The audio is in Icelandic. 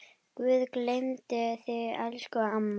Guð geymi þig elsku amma.